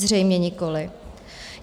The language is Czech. Zřejmě nikoliv.